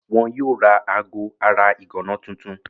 Wọn yóò ra aago ara ìgànná tuntun.